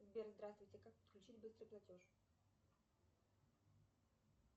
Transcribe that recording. сбер здравствуйте как подключить быстрый платеж